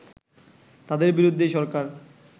তাদের বিরুদ্ধেই সরকার